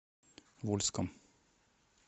вольском